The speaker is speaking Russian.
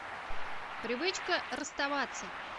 привычка расставаться